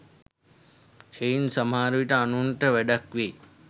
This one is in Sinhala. එයින් සමහර විට අනුන්ට වැඩක් වෙයි